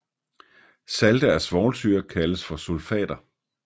Salte af svovlsyre kaldes for sulfater